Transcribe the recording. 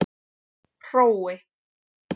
Hrói